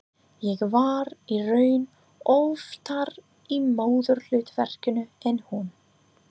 Ég var í raun oftar í móðurhlutverkinu en hún.